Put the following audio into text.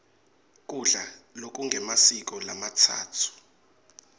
kudla lokungemasiko lamatsatfu